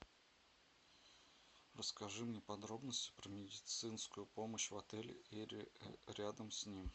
расскажи мне подробности про медицинскую помощь в отеле и рядом с ним